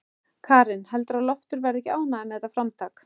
Karen: Heldurðu að Loftur verði ekki ánægður með þetta framtak?